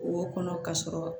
Wo kɔnɔ ka sɔrɔ